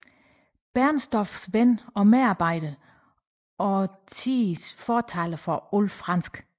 Bernstorffs ven og medarbejder og tidens fortaler for alt fransk